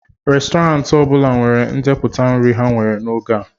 Restọrantị ọ bụla nwere ndepụta nri ha nwere n'oge a